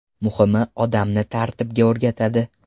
Muhimi odamni tartibga o‘rgatadi.